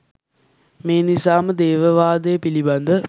මේ නිසා ම දේව වාදය පිළිබඳ